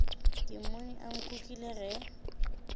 ke mmone a nkukile ge